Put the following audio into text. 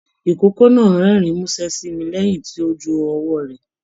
Ikòkò náà rẹ́rìn musẹ sí mí lẹyìn tó jù ọwọ rẹ